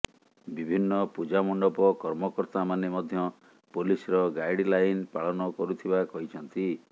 ବିଭିନ୍ନ ପୂଜାମଣ୍ଡପ କର୍ମକର୍ତ୍ତାମାନେ ମଧ୍ୟ ପୋଲିସର ଗାଇଡଲାଇନ ପାଳନ କରୁଥିବା କହିଛନ୍ତି